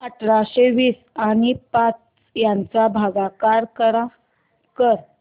अठराशे वीस आणि पाच यांचा भागाकार कर